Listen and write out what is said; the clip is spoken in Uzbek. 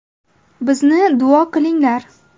Bizni duo qilinglar.